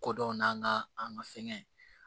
Kodɔn n'an ka an ka fɛnkɛ